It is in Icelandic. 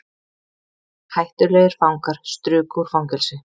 Hættulegir fangar struku úr fangelsi